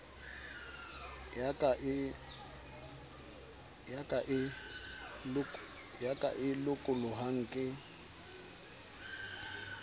ya ka e lokolohang ke